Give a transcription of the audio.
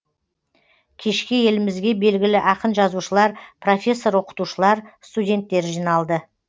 кешке елімізге белгілі ақын жазушылар профессор оқытушылар студенттер жиналды